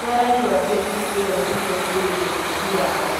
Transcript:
Nĩaĩraigua breki ĩyo nĩiraingirĩire wĩki wao.